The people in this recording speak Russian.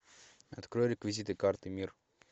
открой реквизиты карты мир